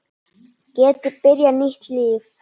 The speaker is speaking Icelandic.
Geti byrjað nýtt líf.